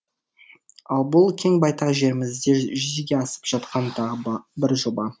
ал бұл кең байтақ жерімізде жүзеге асып жатқан тағы бір жоба